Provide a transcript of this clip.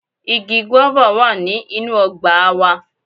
Igi "guava" wá ní inú ọgbà a wa